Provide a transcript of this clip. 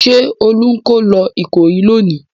Ṣé Olú ń kó lọ Ìkòyí lónìí?